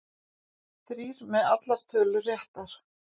Þrír með allar tölur réttar